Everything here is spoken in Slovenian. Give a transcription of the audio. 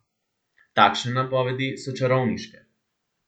Takšne napovedi so čarovniške.